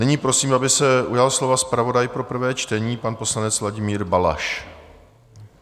Nyní prosím, aby se ujal slova zpravodaj pro prvé čtení, pan poslanec Vladimír Balaš.